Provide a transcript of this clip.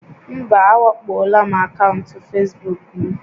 Mba, a wakpoola akaụntụ Facebook m